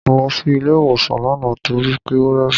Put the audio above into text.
Mo lọ sí ilé ìwòsàn lánàá torí pé ó rẹ̀ mí.